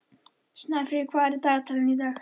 Snæfríð, hvað er á dagatalinu í dag?